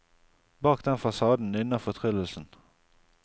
Bak den fasaden nynner fortryllelsen.